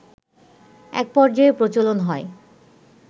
এক পর্যায়ে প্রচলন হয়